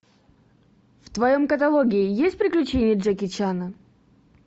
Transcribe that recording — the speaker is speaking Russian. в твоем каталоге есть приключения джеки чана